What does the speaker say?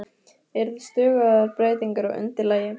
Eru það stöðugar breytingar á undirlagi?